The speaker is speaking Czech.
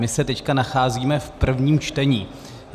My se teď nacházíme v prvním čtení.